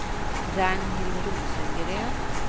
Ragnhild Rosengren